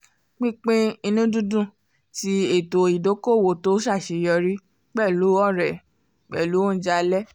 pínpín ìnùdídùn ti ètò ìdoko-owo tó ṣàṣeyọrí pẹ̀lú ọ̀rẹ́ pẹ̀lú ounjẹ alẹ́